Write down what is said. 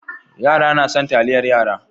Yara na son taliyar yara.